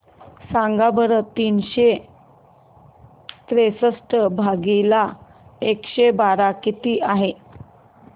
सांगा बरं तीनशे त्रेसष्ट भागीला एकशे बारा किती आहे